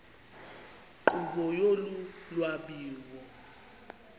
nkqubo yolu lwabiwo